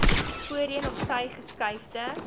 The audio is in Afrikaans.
voorheen opsy geskuifde